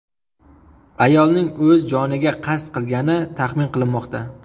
Ayolning o‘z joniga qasd qilgani taxmin qilinmoqda.